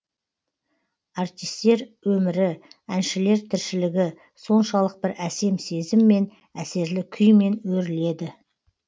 артистер өмірі әншілер тіршілігі соншалық бір әсем сезіммен әсерлі күймен өріледі